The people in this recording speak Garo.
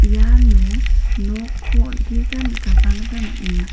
iano nokko on·tisa nikatna gita man·enga.